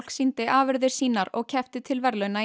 sýndi afurðir sínar og keppti til verðlauna í